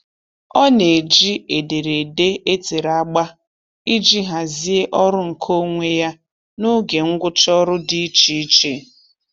Ọ na-eji ederede e tere agba iji hazie ọrụ nkeonwe ya na oge ngwụcha ọrụ dị icheiche.